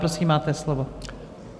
Prosím, máte slovo.